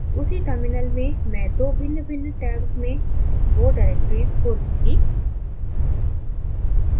उसी terminal में मैं 2 भिन्नभिन्न tabs में वो डिरेक्टरीज़ खोलूँगी